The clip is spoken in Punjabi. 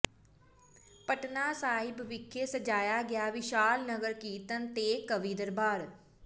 ਪਟਨਾ ਸਾਹਿਬ ਵਿਖੇ ਸਜਾਇਆ ਗਿਆ ਵਿਸ਼ਾਲ ਨਗਰ ਕੀਰਤਨ ਤੇ ਕਵੀ ਦਰਬਾਰ